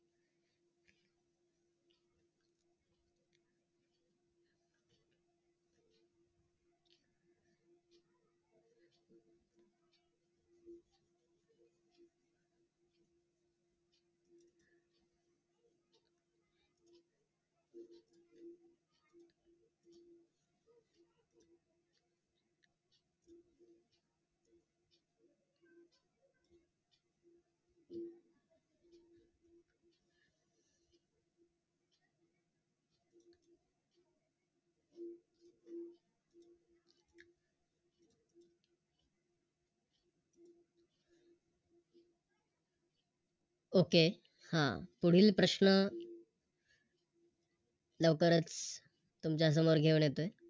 Okay अह पुढील प्रश्न लवकरच तुमच्या समोर घेऊन येतोय